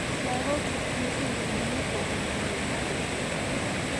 Logok chetinye syndrome ini koguiguiye en Knucles chechwang.